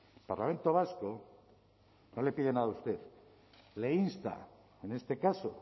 el parlamento vasco no le pide nada a usted le insta en este caso